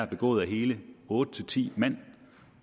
begået af hele otte ti mand